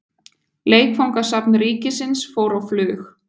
Leikfangasafn ríkisins fór á flug.